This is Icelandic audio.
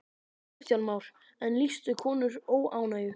Kristján Már: En lýstu konur óánægju?